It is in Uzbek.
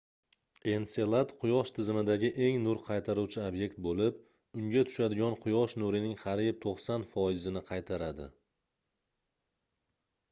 enselad quyosh tizimidagi eng nur qaytaruvchi obyekt boʻlib unga tushadigan quyosh nurining qariyb 90 foizini qaytaradi